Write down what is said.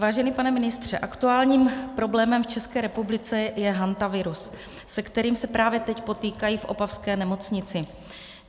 Vážený pane ministře, aktuálním problémem v České republice je hantavirus, se kterým se právě teď potýkají v opavské nemocnici.